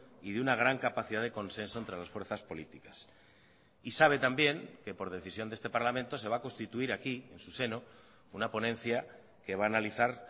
y de una gran capacidad de consenso entre las fuerzas políticas y sabe también que por decisión de este parlamento se va a constituir aquí en su seno una ponencia que va a analizar